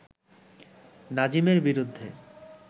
নাজিমের বিরুদ্ধে